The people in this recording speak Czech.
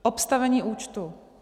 Obstavení účtu.